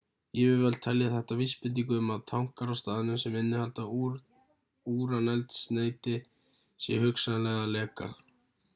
yfirvöld telja þetta vísbendingu um að tankar á staðnum sem innihalda úraneldsneyti séu hugsanlega að leka